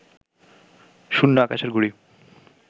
শূন্য আকাশের ঘুড়ি